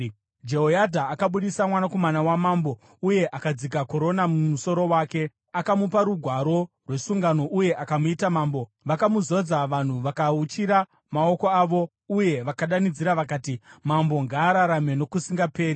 Jehoyadha akabudisa mwanakomana wamambo uye akadzika korona mumusoro wake; akamupa rugwaro rwesungano uye akamuita mambo. Vakamuzodza, vanhu vakauchira maoko avo uye vakadanidzira vakati, “Mambo ngaararame nokusingaperi!”